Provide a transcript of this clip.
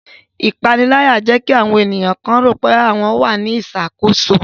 Ipanilaya jẹ ki awọn eniyan kan lero pe wọn wa ni iṣakoso